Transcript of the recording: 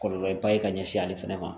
Kɔlɔlɔ ba ye ka ɲɛsin ale fɛnɛ ma